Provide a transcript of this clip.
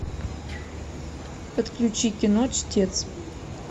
подключи кино чтец